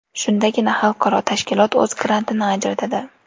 Shundagina xalqaro tashkilot o‘z grantini ajratadi.